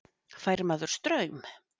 Fær maður straum?